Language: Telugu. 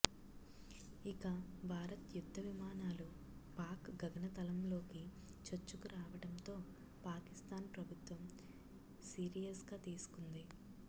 ఇక భారత్ యుద్ధవిమానాలు పాక్ గగనతలంలోకి చొచ్చుకురావడంతో పాకిస్తాన్ ప్రభుత్వం సీరియస్గా తీసుకుంది